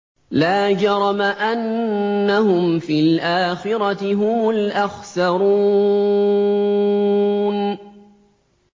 لَا جَرَمَ أَنَّهُمْ فِي الْآخِرَةِ هُمُ الْأَخْسَرُونَ